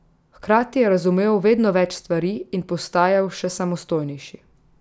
Hkrati je razumel vedno več stvari in postajal še samostojnejši.